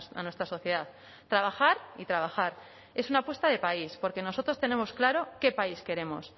a nuestra sociedad trabajar y trabajar es una apuesta de país porque nosotros tenemos claro qué país queremos